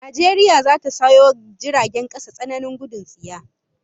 Najeriya zata sayo jiragen kasa tsananin gudun tsiya